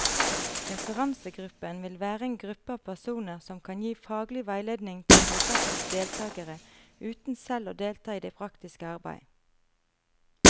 Referansegruppen vil være en gruppe av personer som kan gi faglig veiledning til prosjektets deltagere, uten selv å delta i det praktiske arbeidet.